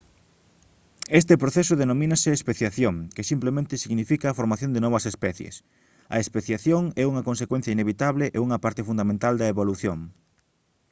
este proceso denomínase especiación que simplemente significa a formación de novas especies a especiación é unha consecuencia inevitable e unha parte fundamental da evolución